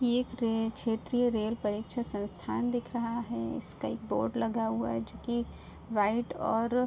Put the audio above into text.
ये एक रे क्षेत्रीय रेल परीक्षा संस्थान दिख रहा है। इसका एक बोर्ड लगा हुआ है जोकि व्हाइट और --